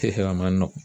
a ma nɔgɔ